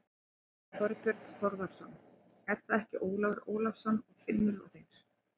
Þorbjörn Þórðarson: Er það ekki Ólafur Ólafsson og Finnur og þeir?